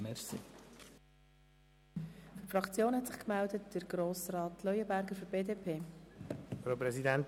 Seitens der Fraktionen hat sich Grossrat Leuenberger für die BDP gemeldet.